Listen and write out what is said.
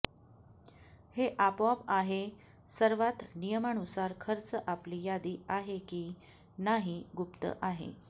हे आपोआप आहे सर्वात नियमानुसार खर्च आपली यादी आहे की नाही गुप्त आहे